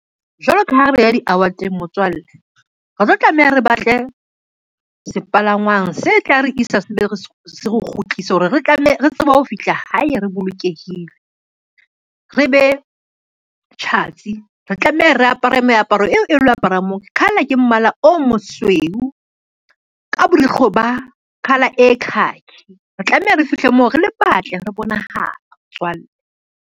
Jwalo ka ha re ya di-award-eng, motswalle, re tlo tlameha re batle sepalangwang se tla re isa se be se re kgutlise hore re tsebe ho fihla hae re bolokehile, re be tjhatsi. Re tlameha re apara meaparo eo e lo apara moo, color ke mmala o mosweu ka borukgo ba colour e khaki. Re tlameha re fihle moo re le batle, re bonahala motswalle.